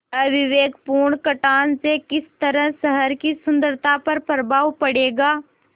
अविवेकपूर्ण कटान से किस तरह शहर की सुन्दरता पर प्रभाव पड़ेगा